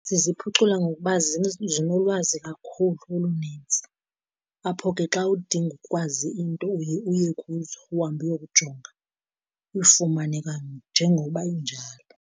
Ziziphucula ngokuba zinolwazi kakhulu olunintsi, apho ke xa udinga ukwazi into uye uye kuzo, uhambe uyokujonga uyifumane kanye njengoba injalo.